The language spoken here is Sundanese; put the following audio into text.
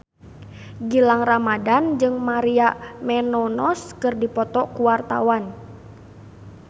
Gilang Ramadan jeung Maria Menounos keur dipoto ku wartawan